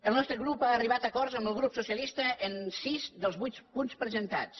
el nostre grup ha arribat a acords amb el grup socialista en sis dels vuit punts presentats